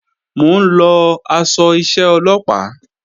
Mò ń lọ aṣọ iṣẹ́ Ọlọ́pàá